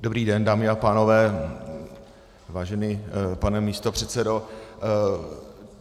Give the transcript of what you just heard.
Dobrý den, dámy a pánové, vážený pane místopředsedo.